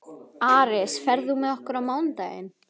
Aris, ferð þú með okkur á mánudaginn?